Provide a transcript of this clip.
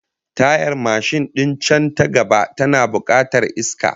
Tayar mashin din can ta gaba tana bukatar iska